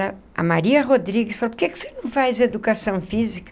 A Maria Rodrigues falou, por que que você não faz educação física?